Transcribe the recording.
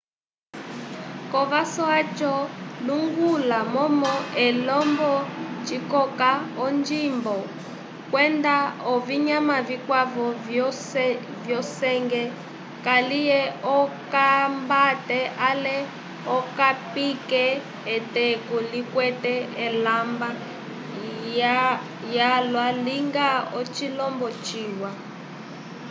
kovaso yaco lunguka momo elemba cikoka onjimbo kwenda ovinyama vĩkwavo vyo senge kaliye okambate ale okapike eteku likwete elemba lyalwa linga ocilombo ciwa